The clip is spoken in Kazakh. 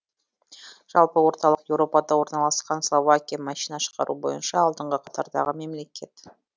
жалпы орталық еуропада орналасқан словакия машина шығару бойынша алдыңғы қатардағы мемлекет